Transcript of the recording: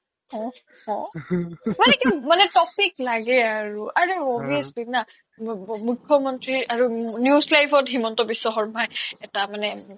মানে topic লাগে আৰু আৰে obviously না মুখ্য মন্ত্ৰী আৰু News Live ত হিমন্ত বিশ্ব শৰ্মা এটা মানে